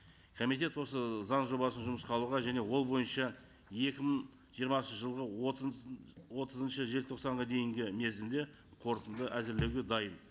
комитет осы заң жобасын жұмысқа алуға және ол бойынша екі мың жиырмасыншы жылғы отызыншы желтоқсанға дейінгі мерзімде қорытынды әзірлеуге дайын